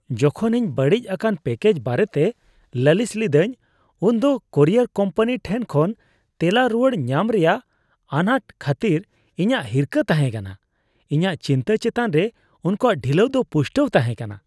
ᱡᱚᱠᱷᱚᱱ ᱤᱧ ᱵᱟᱹᱲᱤᱡ ᱟᱠᱟᱱ ᱯᱮᱠᱮᱡ ᱵᱟᱨᱮᱛᱮ ᱞᱟᱹᱞᱤᱥ ᱞᱤᱫᱟᱹᱧ ᱩᱱᱫᱚ ᱠᱩᱨᱤᱭᱟᱨ ᱠᱳᱢᱯᱟᱱᱤ ᱴᱷᱮᱱ ᱠᱷᱚᱱ ᱛᱮᱞᱟ ᱨᱩᱣᱟᱹᱲ ᱧᱟᱢ ᱨᱮᱭᱟᱜ ᱟᱱᱟᱴ ᱠᱷᱟᱹᱛᱤᱨ ᱤᱧᱟᱹᱜ ᱦᱤᱨᱠᱟᱹ ᱛᱟᱦᱮᱸ ᱠᱟᱱᱟ ᱾ ᱤᱧᱟᱹᱜ ᱪᱤᱱᱛᱟᱹ ᱪᱮᱛᱟᱱ ᱨᱮ ᱩᱱᱠᱩᱣᱟᱜ ᱰᱷᱤᱞᱟᱹᱣ ᱫᱚ ᱯᱩᱥᱴᱟᱹᱣ ᱛᱟᱦᱮᱸ ᱠᱟᱱᱟ ᱾